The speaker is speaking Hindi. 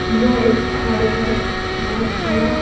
यह एक घर है बहुत बड़ा।